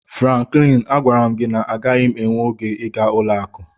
Franklin, agwara m gị na agaghị m enwe oge ịga ụlọ akụ